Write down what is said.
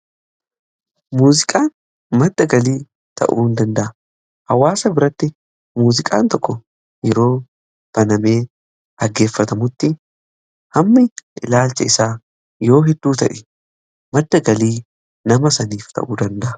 Muuziqaan madda galii ta'uu in danda'a. Hawaasa biratti muuziqaan tokko yeroo banamee dhaggeeffatamutti hammi ilaalcha isaa yoo hedduu ta'e madda galii nama saniif ta'uu danda'a.